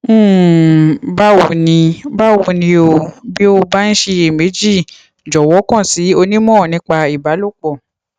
um báwo ni báwo ni o bí o bá ń ṣiyèméjì jọwọ kàn sí onímọ nípa ìbálòpọ